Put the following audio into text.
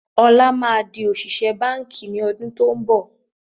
Ọlá má di òṣìṣẹ́ báńkì ni ọdún to ń bọ̀